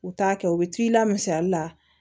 U t'a kɛ u bɛ t'i la misali la